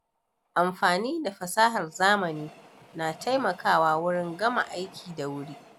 Amfani da fasahar zamani na taimakawa wurin gama aiki da wuri.